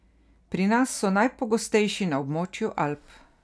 Pri nas so najpogostejši na območju Alp.